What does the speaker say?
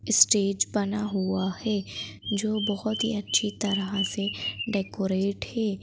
Stage बना हुआ है जो बहुत ही अच्छी तरह से डेकोरेट है।